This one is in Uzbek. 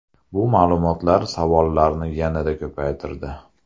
Bu ma’lumotlar savollarni yanada ko‘paytirdi .